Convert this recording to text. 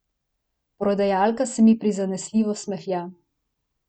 Prodajalka se mi prizanesljivo smehlja.